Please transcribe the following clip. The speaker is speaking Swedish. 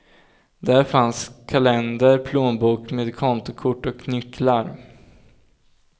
Där fanns kalender, plånbok med kontokort och nycklar.